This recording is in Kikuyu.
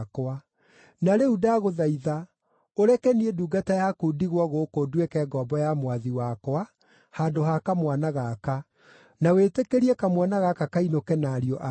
“Na rĩu ndagũthaitha ũreke niĩ ndungata yaku ndigwo gũkũ nduĩke ngombo ya mwathi wakwa handũ ha kamwana gaka, na wĩtĩkĩrie kamwana gaka kainũke na ariũ a ithe.